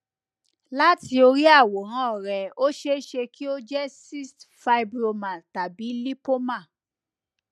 látì orí àwòrán rẹ ó ṣeé ṣe kí ó jẹ cyst fibroma tàbí lipoma